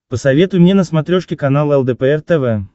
посоветуй мне на смотрешке канал лдпр тв